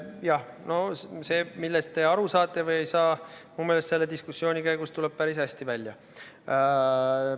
Jah, no see, millest te aru saate või ei saa, tuleb minu meelest selle diskussiooni käigus päris hästi välja.